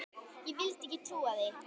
Ég vildi ekki trúa því.